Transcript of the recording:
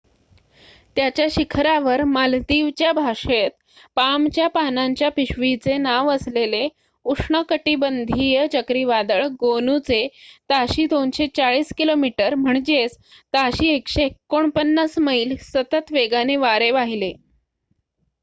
त्याच्या शिखरावर मालदीवच्या भाषेत पामच्या पानांच्या पिशवीचे नाव असलेले उष्णकटिबंधीय चक्रीवादळ गोनूचे ताशी 240 किलोमीटर ताशी 149 मैल सतत वेगाने वारे वाहिले